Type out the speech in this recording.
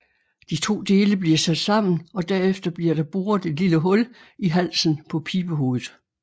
De to dele bliver sat sammen og derefter bliver der boret et lille hul i halsen på pibehovedet